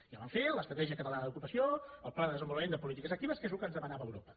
ja vam fer l’estratègia catalana d’ocupació el pla de desenvolupament de polítiques actives que és el que ens demanava europa